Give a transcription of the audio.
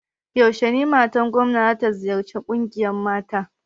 Yaushe matar gomna za ta ziyarci ƙungiyar mata?